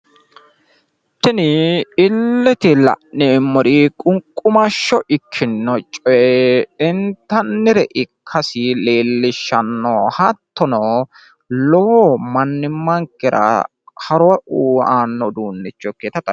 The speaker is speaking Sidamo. Tini illete la'neemmori qunqqumashsho ikkinno coye intannire ikkasi leellishshanno. Hattono lowo mannimankera horo aanno uduunicho ikkinota xawissanno.